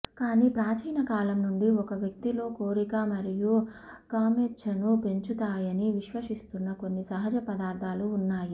కానీ ప్రాచీన కాలం నుండి ఒక వ్యక్తిలో కోరిక మరియు కామేచ్ఛను పెంచుతాయని విశ్వసిస్తున్న కొన్ని సహజ పదార్థాలు ఉన్నాయి